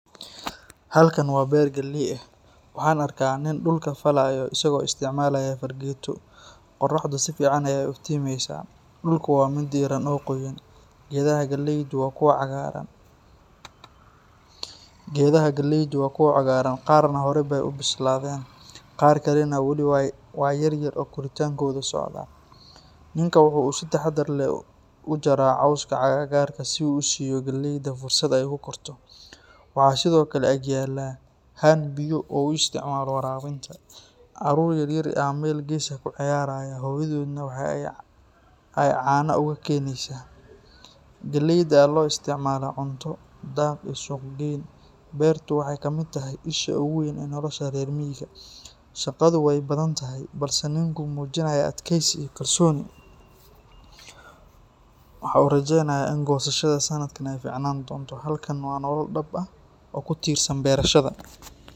Halkan waa beer galley ah. Waxaan arkaa nin dhulka falayo isagoo isticmaalaya fargeeto. Qorraxdu si fiican ayay u iftiimaysaa, dhulku waa mid diiran oo qoyan. Geedaha galleydu waa kuwo cagaaran, qaarna horey bay u bislaadeen. Qaar kalena weli waa yaryar oo koritaankoodu socdaa. Ninku waxa uu si taxaddar leh u jaraa cawska agagaarka si uu u siiyo galleyda fursad ay ku korto. Waxaa sidoo kale ag yaalla haan biyo ah oo uu u isticmaalo waraabinta. Caruur yar yar ayaa meel gees ah ku ciyaaraya, hooyadoodna waxa ay caanaha uga keenaysaa. Galleyda ayaa loo isticmaalaa cunto, daaq, iyo suuq-geyn. Beertu waxay ka mid tahay isha ugu weyn ee nolosha reer miyiga. Shaqadu way badan tahay, balse ninku muujiyaa adkaysi iyo kalsooni. Waxa uu rajaynayaa in goosashada sanadkan ay fiicnaan doonto. Halkan waa nolol dhab ah oo ku tiirsan beerashada.